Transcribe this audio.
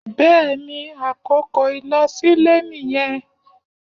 bẹẹni àkókò ilosile niyén